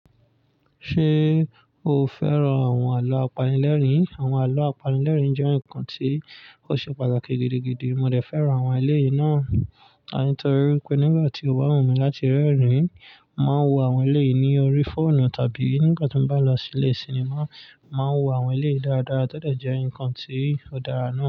Ṣé o fẹ́ràn àwọn àlọ́ apanilẹ́rìn? Àwọn àlọ́ apanilẹ́rìn jẹ́ nǹkan tí ó ṣe pàtàkì gidigidi. Mo dẹ̀ fẹ́ràn àwọn eléyìí náà, àní torí pé nígbà tí o bá wù mí láti rẹ́rìn-ín, màá wo àwọn eléyìí ní orí fóònù tàbí nígbà tí n bá lọ sí ilé sinimá, màá wo àwọn eléyìí dáradára tọ́ dẹ̀ jẹ́ nǹkan tí ó dára náà.